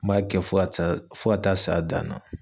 N b'a kɛ fo ka taa fo ka taa'a s'a dan na.